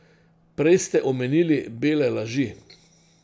Prej ste omenili bele laži.